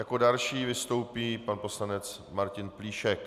Jako další vystoupí pan poslanec Martin Plíšek.